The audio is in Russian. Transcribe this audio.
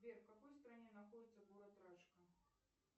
сбер в какой стране находится город рашка